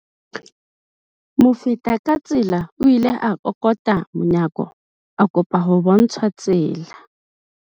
Mofetakatsela o ile a kokota monyako a kopa ho bontshwa tsela.